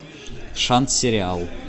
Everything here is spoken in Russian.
шанс сериал